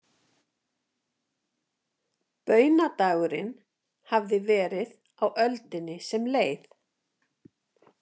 Baunadagurinn hafði verið á öldinni sem leið.